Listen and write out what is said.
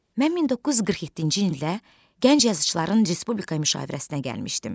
Mən 1947-ci ildə gənc yazıçılar respublika müşavirəsinə gəlmişdim.